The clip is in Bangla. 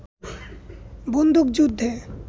বন্দুকযুদ্ধে